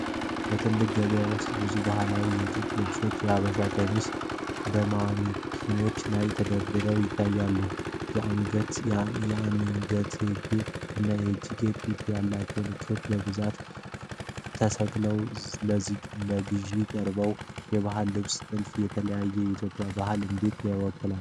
በትልቁ ገበያ ውስጥ ብዙ ባህላዊ የጥጥ ልብሶች (ሀበሻ ቀሚስ) በማኒኪኖች ላይ ተደርድረው ይታያሉ። የአንገትጌ እና የእጅጌ ጥልፍ ያላቸው ልብሶች በብዛት ተሰቅለው ለገዢዎች ቀርበዋል። የባህላዊ ልብሶች ጥልፍ የተለያዩ የኢትዮጵያ ባህሎችን እንዴት ይወክላል?